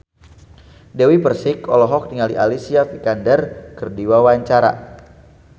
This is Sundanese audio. Dewi Persik olohok ningali Alicia Vikander keur diwawancara